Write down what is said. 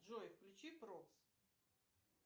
джой включи проц